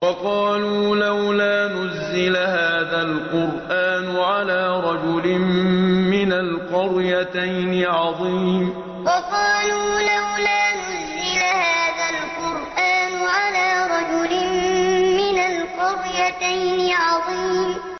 وَقَالُوا لَوْلَا نُزِّلَ هَٰذَا الْقُرْآنُ عَلَىٰ رَجُلٍ مِّنَ الْقَرْيَتَيْنِ عَظِيمٍ وَقَالُوا لَوْلَا نُزِّلَ هَٰذَا الْقُرْآنُ عَلَىٰ رَجُلٍ مِّنَ الْقَرْيَتَيْنِ عَظِيمٍ